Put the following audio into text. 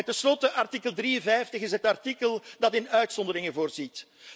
Ten slotte artikel 53 is het artikel dat in uitzonderingen voorziet.